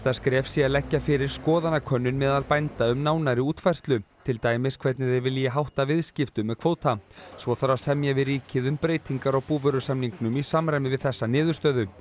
skref sé að leggja fyrir skoðanakönnun meðal bænda um nánari útfærslu til dæmis hvernig þeir vilji hátta viðskiptum með kvóta svo þarf að semja við ríkið um breytingar á búvörusamningnum í samræmi við þessa niðurstöðu